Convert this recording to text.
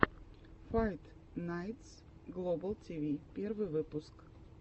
файт найтс глобал тиви первый выпуск